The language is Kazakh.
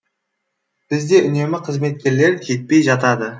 бізде үнемі қызметкерлер жетпей жатады